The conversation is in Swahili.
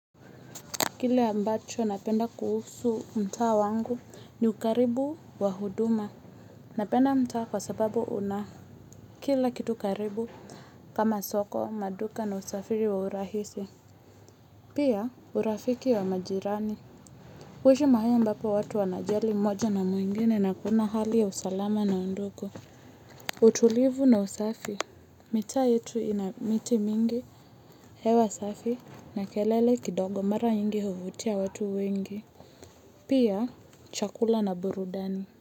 Kile ambacho napenda kuhusu mtaa wangu ni ukaribu wa huduma. Napenda mtaa kwa sababu una. Kila kitu karibu kama soko, maduka na usafiri wa urahisi. Pia urafiki wa majirani. Uishi mahali ambapo watu wanajali moja na mwingine na kuna hali ya usalama na undugu. Utulivu na usafi. Mita yetu inamiti mingi, hewa safi na kelele kidogo mara nyingi huvutia watu wengi. Pia chakula na burudani.